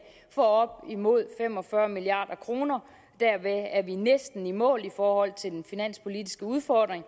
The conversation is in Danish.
for op imod fem og fyrre milliard kroner derved er vi næsten i mål i forhold til den finanspolitiske udfordring